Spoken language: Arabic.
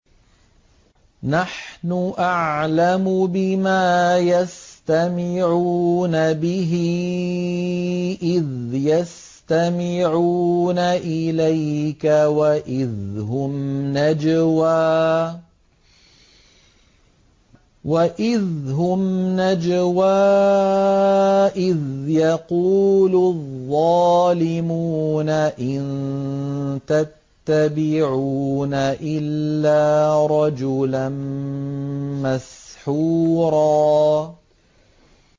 نَّحْنُ أَعْلَمُ بِمَا يَسْتَمِعُونَ بِهِ إِذْ يَسْتَمِعُونَ إِلَيْكَ وَإِذْ هُمْ نَجْوَىٰ إِذْ يَقُولُ الظَّالِمُونَ إِن تَتَّبِعُونَ إِلَّا رَجُلًا مَّسْحُورًا